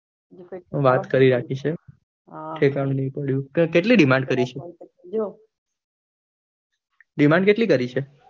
વાત કરી રાખી છે ઠેકાણું નહિ પડ્યું કેટલી demand કરી છે demand કેટલી કરી છે?